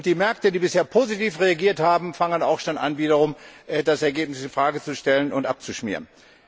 Und die Märkte, die bisher positiv reagiert haben, fangen auch schon an, wiederum das Ergebnis in Frage zu stellen und abzuschmieren.